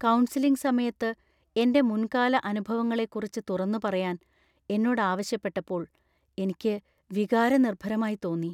Counselling സമയത്ത് എന്‍റെ മുൻകാല അനുഭവങ്ങളെക്കുറിച്ച് തുറന്നുപറയാൻ എന്നോട് ആവശ്യപ്പെട്ടപ്പോൾ എനിക്ക് വികാരനിർഭരമായി തോന്നി .